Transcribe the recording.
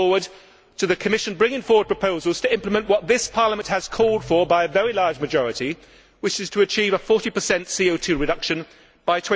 We look forward to the Commission bringing forward proposals to implement what this Parliament has called for by a very large majority, which is the achievement of a 40 CO 2 reduction by